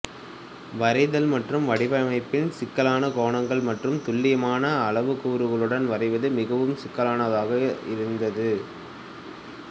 வரைதல் மற்றும் வடிவமைப்பில் சிக்கலான கோணங்கள் மற்றும் துல்லியமான அளவுக் கூறுகளுடன் வரைவது மிகவும் சிக்கலானதாக இருந்தது